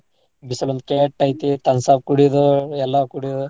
ಬಿಸಲ್ ಒಂದ್ ಕೆಟ್ಟ್ ಐತಿ thumbs up ಕುಡಿದು ಎಲ್ಲಾ ಕೂಡಿಯೋದು.